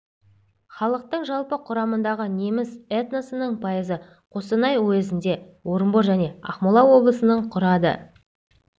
халықтың жалпы құрамындағы неміс этносының пайызы қостанай уездігінде орынбор және ақмола облысының құрады